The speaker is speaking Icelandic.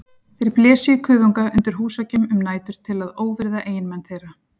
Þeir blésu í kuðunga undir húsveggjum um nætur til að óvirða eiginmenn þeirra.